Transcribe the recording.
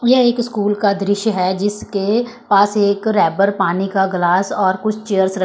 यह एक स्कूल का दृश्य है जिसके पास एक रैबर पानी का ग्लास और कुछ चेयर्स र--